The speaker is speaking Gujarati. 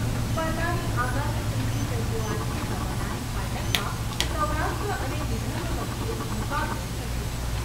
સ્પર્ધાની આગામી ત્રીજી ફેબ્રુઆરીએ રમાનારી ફાઇનલમાં સૌરાષ્ટ્ર અને વિદર્ભ વચ્ચે મુકાબલો થશે.